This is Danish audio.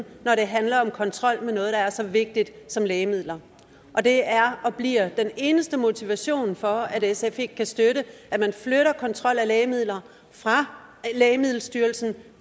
når det handler om kontrol med noget der er så vigtigt som lægemidler det er og bliver den eneste motivation for at sf ikke kan støtte at man flytter kontrollen af lægemidler fra lægemiddelstyrelsen